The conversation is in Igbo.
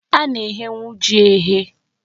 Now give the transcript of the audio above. A na-eghenwu ji eghe.